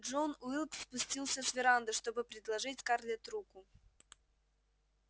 джон уилкс спустился с веранды чтобы предложить скарлетт руку